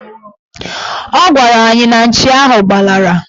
Ọ gwara anyị na nchi ahụ gbalara